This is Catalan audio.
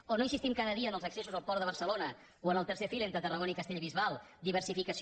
o no insistim cada dia en els accessos al port de barcelona o en el tercer fil entre tarragona i castellbisbal diversificació